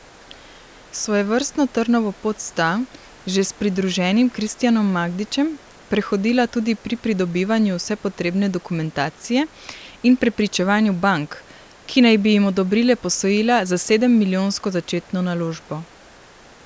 Svojevrstno trnovo pot sta, že s pridruženim Kristjanom Magdičem, prehodila tudi pri pridobivanju vse potrebne dokumentacije in prepričevanju bank, ki naj bi jim odobrile posojila za sedemmilijonsko začetno naložbo.